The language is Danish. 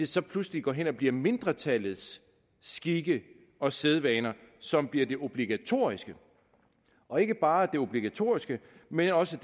så pludselig går hen og bliver mindretallets skikke og sædvaner som bliver de obligatoriske og ikke bare obligatoriske men også